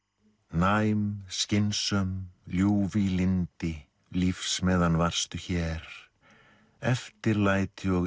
næm skynsöm ljúf í lyndi lífs meðan varstu hér eftirlæti og